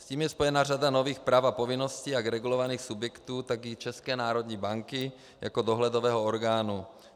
S tím je spojena řada nových práv a povinností jak regulovaných subjektů, tak i České národní banky jako dohledového orgánu.